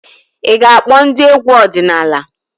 Ị ga-akpọ ndị egwu ọdịnala?